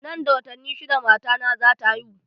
Nan da watanni shidda matana za ta haihu.